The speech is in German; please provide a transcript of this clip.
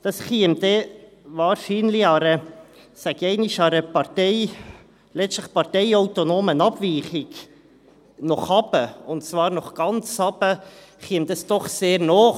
Das käme dann wahrscheinlich einer, ich sage einmal, letztlich parteiautonomen Abweichung nach unten, und zwar nach ganz unten, doch sehr nahe.